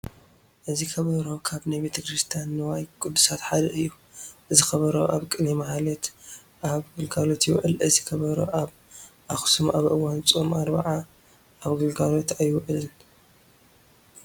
እዚ ከበሮ ካብ ናይ ቤተ ክርስቲያን ንዋየ ቅድሳት ሓደ እዩ፡፡ እዚ ከበሮ ኣብ ቅኔ ማህሌት ኣብ ግልጋሎት ይውዕል፡፡ እዚ ከበሮ ኣብ ኣኽሱም ኣብ እዋን ፆመ ኣርብዓ ኣብ ግልጋሎት ኣይውዕልን፡፡